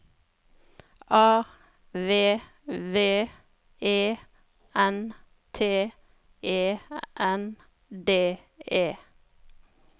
A V V E N T E N D E